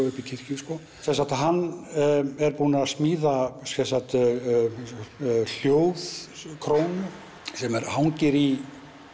uppi í kirkju hann er búinn að smíða hljóðkrónu sem hangir í